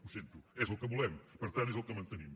ho sento és el que volem per tant és el que mantenim